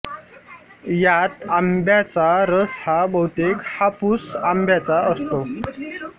यात आंब्याचा रस हा बहुतेक हापूस आंब्याचा असतो